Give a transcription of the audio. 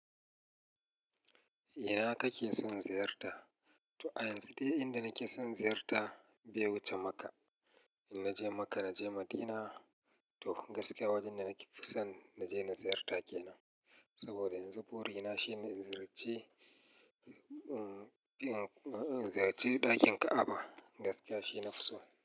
Ina kake son ziyarta? To a yanzu dai inda nake son ziyarta be wuce Makka. In naje Makka, naje Madina. To gaskiya wajen da nake fi son naje na ziyarta kenan. Saboda yanzu burina shine in ziyarci, in ziyarci ɗakin Ka'aba gaskiya shi na fison.